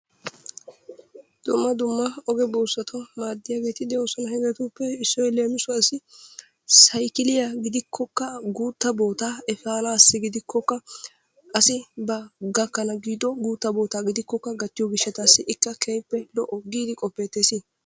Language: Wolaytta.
Dumma dumma oge buussatun maadiyageeti de'oosona. Hegeetuppe issoy leemissuwaassi saykkiliya gidikkokka guuttaa bootaa eppanaassi gidikkokka asi ba gakkana giiddo guuttaa bootaa gidikkokka gattiyo gishshataassi ikka keehippe lo'o giidi qofettees.